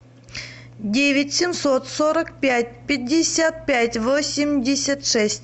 девять семьсот сорок пять пятьдесят пять восемьдесят шесть